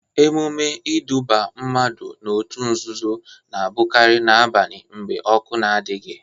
Emume iduba mmadụ n'otu nzuzo na abụkari na-abani mgbe ọkụ adịghị.